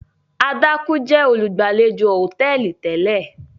Adaaku jẹ olugbalejò hotẹẹli tẹlẹ.